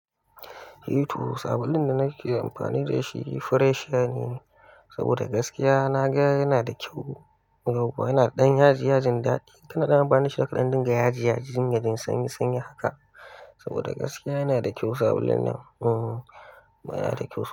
Eh to, sabulun da nake amfani da shi Freshia ne saboda gaskiya na ga yana da kyau, yana ɗan yaji yajin daɗi. Kaina na amfani da shi a kaɗan dinga yaji yajin sanyi sanyi haka saboda gaskiya yana da kyau sabulun nan, hmm baya da kyau.